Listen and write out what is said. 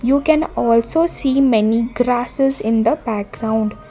you can also see many grasses in the background.